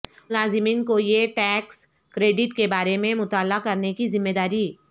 ملازمین کو یہ ٹیکس کریڈٹ کے بارے میں مطلع کرنے کی ذمہ داری